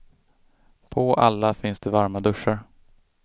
På alla finns det varma duschar.